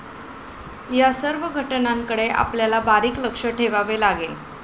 या सर्व घटनांकडे आपल्याला बारीक लक्ष ठेवावं लागेल.